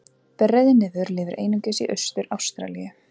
Breiðnefir lifa einungis í Austur-Ástralíu.